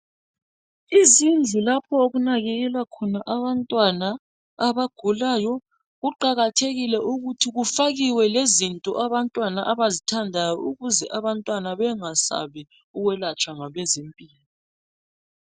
Izindlu lapho okunakekelwa khona abantwana abagulayo kuqakathekile ukuthi kufakiwe lezinto abantwana abazithandayo ukuze abantwana bengasabi ukwelatshwa ngabazempila kahle